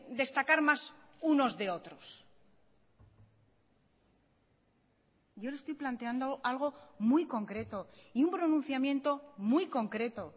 destacar más unos de otros yo le estoy planteando algo muy concreto y un pronunciamiento muy concreto